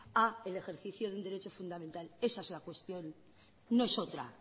a el ejercicio de un derecho fundamental esa es la cuestión